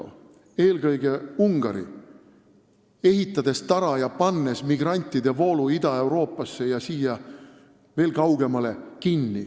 Eelkõige on kangelasteo teinud Ungari, kes ehitas tara ja pani migrantide voolu Ida-Euroopasse ja veel kaugemale kinni.